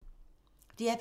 DR P2